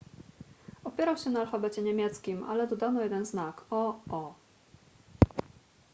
opierał się na alfabecie niemieckim ale dodano jeden znak: õ/õ